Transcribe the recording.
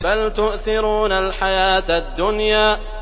بَلْ تُؤْثِرُونَ الْحَيَاةَ الدُّنْيَا